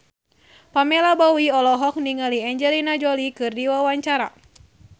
Pamela Bowie olohok ningali Angelina Jolie keur diwawancara